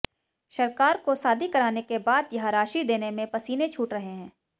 सरकार को शादी कराने के बाद यह राशि देने में पसीने छूट रहे हैं